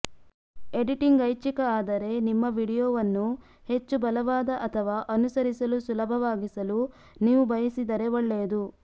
editing ಐಚ್ಛಿಕ ಆದರೆ ನಿಮ್ಮ ವೀಡಿಯೊವನ್ನು ಹೆಚ್ಚು ಬಲವಾದ ಅಥವಾ ಅನುಸರಿಸಲು ಸುಲಭವಾಗಿಸಲು ನೀವು ಬಯಸಿದರೆ ಒಳ್ಳೆಯದು